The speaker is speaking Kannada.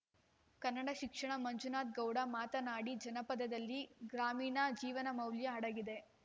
ಕನ್ನಡ ಶಿಕ್ಷಣ ಮಂಜುನಾಥಗೌಡ ಮಾತನಾಡಿ ಜಾನಪದದಲ್ಲಿ ಗ್ರಾಮೀಣ ಜೀವನಮೌಲ್ಯ ಅಡಗಿದೆ